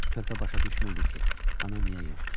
Körpə başa düşmürdü ki, ana niyə yoxdur.